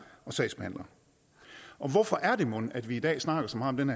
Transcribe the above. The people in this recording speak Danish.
og sagsbehandlere hvorfor er det mon at vi i dag snakker så meget om